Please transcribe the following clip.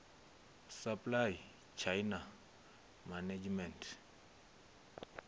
supply chain management